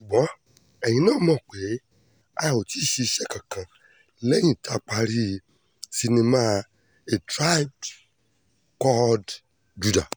ṣùgbọ́n ẹ̀yìn náà mọ̀ pé a ò tí ì ṣiṣẹ́ kankan lẹ́yìn tá a parí sinimá a tribe called judah